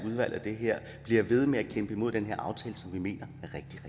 udvalg af det her bliver ved med at kæmpe imod den her aftale som vi mener